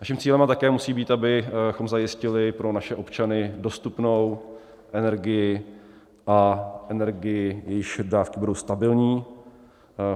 Naším cílem také musí být, abychom zajistili pro naše občany dostupnou energii a energii, jejíž dodávky budou stabilní.